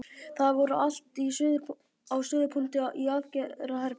Það var allt á suðupunkti í aðgerðaherberginu.